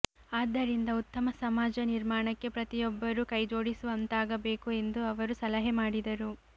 ಆದ್ದರಿಂದ ಉತ್ತಮ ಸಮಾಜ ನಿರ್ಮಾಣಕ್ಕೆ ಪ್ರತಿಯೊಬ್ಬರೂ ಕೈಜೋಡಿಸುವಂತಾಗಬೇಕು ಎಂದು ಅವರು ಸಲಹೆ ಮಾಡಿದರು